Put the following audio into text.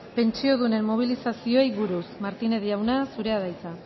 pentsiodunen mobilizazioei buruz martínez jauna zurea da hitza